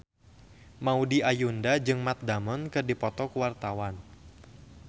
Maudy Ayunda jeung Matt Damon keur dipoto ku wartawan